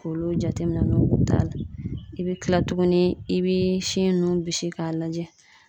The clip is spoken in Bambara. K'olu jateminɛ n'o t'a la i bɛ kila tuguni i bɛ sin nun bisi k'a lajɛ